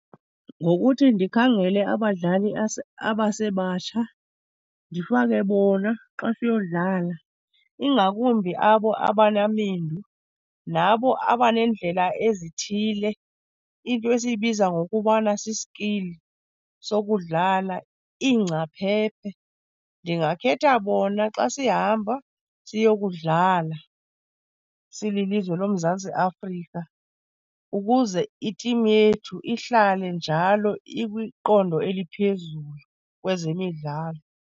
Ngokuthi ndikhangele abadlali abasebatsha, ndifake bona xa siyodlala. Ingakumbi abo abanamendu nabo abaneendlela ezithile, into esiyibiza ngokubana si-skill sokudlala, iingcaphephe. Ndingakhetha bona xa sihamba siyokudlala silizwe loMzantsi Afrika ukuze i-team yethu ihlale njalo ikwiqondo eliphezulu kwezemidlalo.